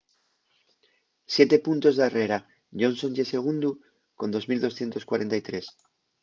siete puntos darrera johnson ye segundu con 2.243